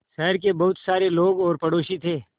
शहर के बहुत सारे लोग और पड़ोसी थे